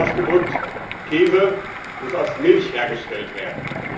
Anders ausgedrückt Käse muss aus Milch hergestellt werden.